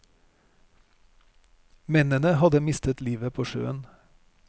Mennene hadde mistet livet på sjøen.